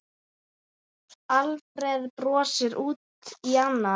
Alfreð brosir út í annað.